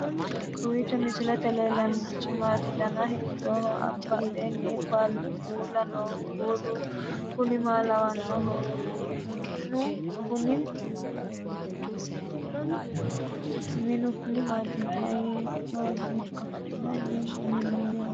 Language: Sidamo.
kowiicho misilete leellanorichi maati ? dana hiittooho ?abadhhenni ikko uulla noohu kuulu kuni maa lawannoho? minu kuni maati mayinnihoikka mayinni minnoonniho